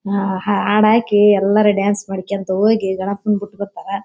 ಆಹ್ಹ್ ಆ ಹಾಡ್ ಹಾಕಿ ಎಲ್ಲರು ಡಾನ್ಸ್ ಮಾಡ್ಕೊಂತ ಹೋಗಿ ಗಣಪನ ಬಿಟಿಬರ್ತಾರಾ.